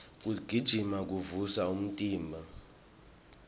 kugijima kuvusa umtimba